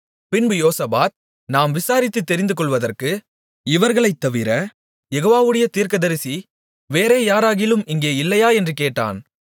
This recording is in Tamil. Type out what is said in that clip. பின்பு யோசபாத் நாம் விசாரித்துத் தெரிந்துகொள்வதற்கு இவர்களைத்தவிர யெகோவாவுடைய தீர்க்கதரிசி வேறே யாராகிலும் இங்கே இல்லையா என்று கேட்டான்